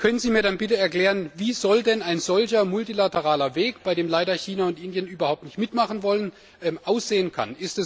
Können Sie mir dann bitte erklären, wie denn ein solcher multilateraler Weg, bei dem leider China und Indien überhaupt nicht mitmachen wollen, aussehen kann?